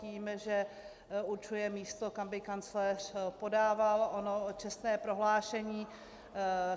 Víme, že určuje místo, kam by kancléř podával ono čestné prohlášení.